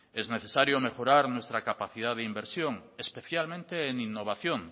es necesario mejorar nuestra capacidad de inversión especialmente en innovación